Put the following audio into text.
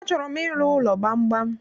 Achọrọ m ịrụ ụlọ gbamgbam